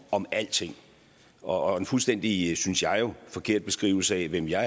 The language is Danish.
om alting og en fuldstændig synes jeg jo forkert beskrivelse af hvem jeg